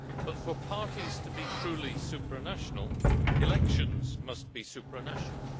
But for parties to be truly supranational, elections must be supranational.